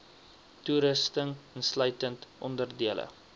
toerusting insluitend onderdele